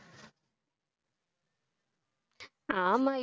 ஆமா இப்~